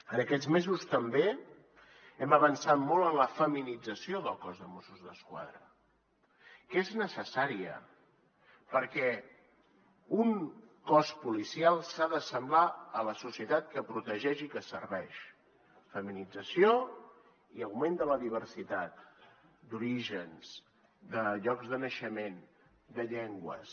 en aquests mesos també hem avançat molt en la feminització del cos de mossos d’esquadra que és necessària perquè un cos policial s’ha d’assemblar a la societat que protegeix i que serveix feminització i augment de la diversitat d’orígens de llocs de naixement de llengües